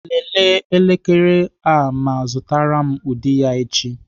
Lelee elekere a ma zụtara m ụdị ya echi.